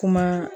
Kuma